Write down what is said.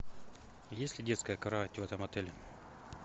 есть ли детская кровать в этом отеле